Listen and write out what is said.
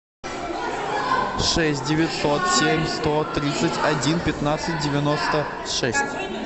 шесть девятьсот семь сто тридцать один пятнадцать девяносто шесть